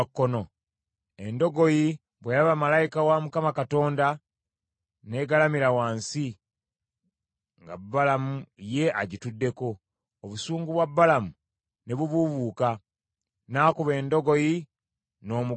Endogoyi bwe yalaba malayika wa Mukama Katonda n’egalamira wansi, nga Balamu ye agituddeko; obusungu bwa Balamu ne bubuubuuka, n’akuba endogoyi n’omuggo gwe.